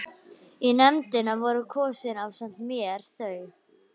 Í nefndina voru kosin ásamt mér þau